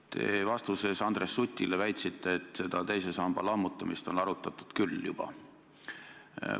Te vastuses Andres Sutile väitsite, et teise samba lammutamist on arutatud juba küllalt.